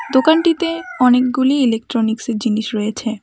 দোকানটিতে অনেকগুলি ইলেকট্রনিক্সের জিনিস রয়েছে।